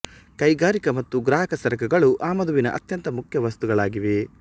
ಕೈಗಾರಿಕಾ ಮತ್ತು ಗ್ರಾಹಕ ಸರಕುಗಳು ಆಮದುವಿನ ಅತ್ಯಂತ ಮುಖ್ಯ ವಸ್ತುಗಳಾಗಿವೆ